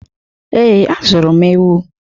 Ee, azụrụ m ewu.